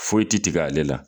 Foyi tɛ tigɛ ale la.